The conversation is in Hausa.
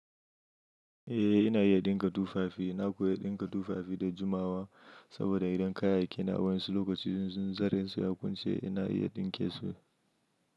Eh ina iya ɗinka tu fafi, na koyi iya ɗinka tufafi da jumawa saboda idan kayayyaki na a wasu lokaci zunzurensu ya kunshi ina iya ɗinke su.